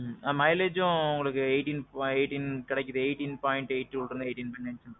ம்ம். mileageம் உங்களுக்கு eighteen eighteen கெடைக்கிது, eighteen point twoல இருந்து கிடைக்குது.